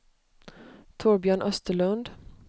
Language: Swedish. Torbjörn Österlund